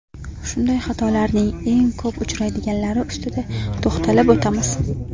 Shunday xatolarning eng ko‘p uchraydiganlari ustida to‘xtalib o‘tamiz.